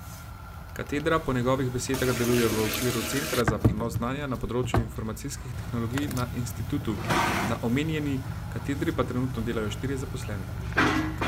Katedra po njegovih besedah deluje v okviru Centra za prenos znanja na področju informacijskih tehnologij na institutu, na omenjeni katedri pa trenutno delajo štirje zaposleni.